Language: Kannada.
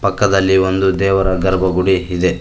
ಪಕ್ಕದಲ್ಲಿ ಒಂದು ದೇವರ ಗರ್ಭಗುಡಿ ಇದೆ.